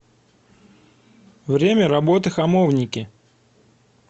время работы хамовники